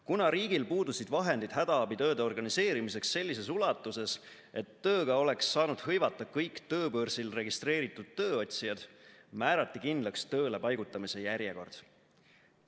Kuna riigil puudusid vahendid hädaabitööde organiseerimiseks sellises ulatuses, et tööga oleks saanud hõivata kõik tööbörsil registreeritud tööotsijad, määrati kindlaks tööle paigutamise järjekord.